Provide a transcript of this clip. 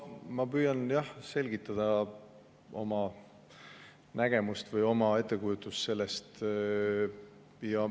No ma püüan selgitada oma nägemust või oma ettekujutust sellest.